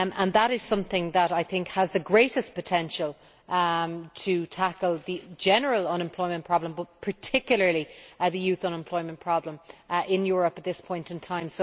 That is something that has the greatest potential to tackle the general unemployment problem, but particularly the youth unemployment problem in Europe at this point in time.